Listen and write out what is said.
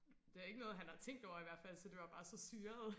det er ikke noget han har tænkt over i hvertfald så det var bare så syret